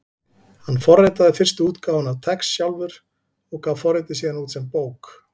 Hann forritaði fyrstu útgáfuna af TeX sjálfur og gaf forritið síðan út sem bók.